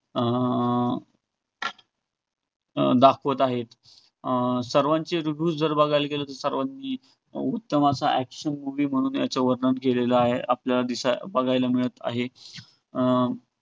अं अं दाखवत आहेत. अं सर्वांचे reviews जर बघायला गेलो, तर सर्वांचे उत्तम असा action movie म्हणून याचे वर्णन केलेलं आहे. आपल्याला दि~ आपल्याला बघायला मिळत आहे. अं